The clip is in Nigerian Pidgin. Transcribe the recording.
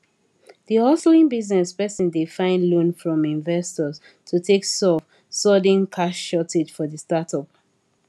d hustling business person dey find loan from investors to take solve sudden cash shortage for the startup